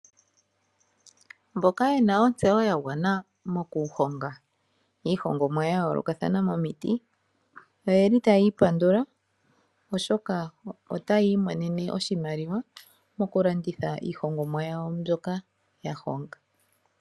Mboka yena ontseyo ya gwana moku honga iihongomwa ya yoolokathana momiti . Oyeli tayiipandula Oshoka ota yiimonene oshimaliwa . Moku landitha iihongomwa yawo mbyoka ya honga.